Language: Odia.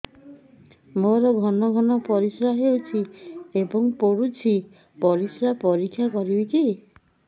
ମୋର ଘନ ଘନ ପରିସ୍ରା ହେଉଛି ଏବଂ ପଡ଼ୁଛି ପରିସ୍ରା ପରୀକ୍ଷା କରିବିକି